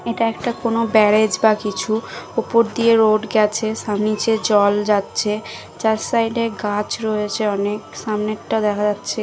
এটা একটা কোনো ব্যারাজ বা কিছু ওপর দিয়ে রোড গেছে সাম নিচে জল যাচ্ছে চার সাইডে গাছ রয়েছে অনেক সামনে একটা দেখা যাচ্ছে ।